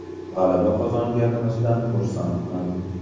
G‘alaba qozonganimizdan xursandman.